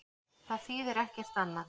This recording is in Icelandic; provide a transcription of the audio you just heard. Það þýðir ekkert annað.